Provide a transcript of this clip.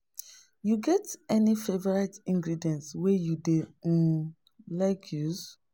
You get any favorite ingredient wey you dey um like use?